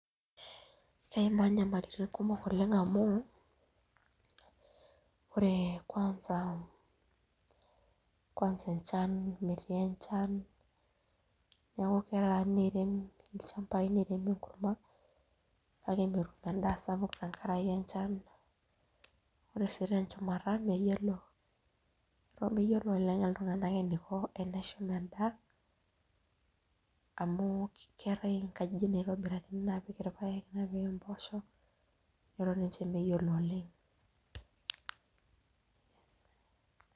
Eimaa nyamalitin kumok amu ore ninye angas kwansa enchan, metii enchan neeku teneiram ilchampai netum enkurma kake metum endaa sapuk tenkaraki enchan. Ore sii tenchumata eton meyiolo lelo tunganak eniko teneshum endaa, amu keetae nkajijik naitobirakini neshumi irpaek nepiki mpoosho eton ninche meyiolo oleng.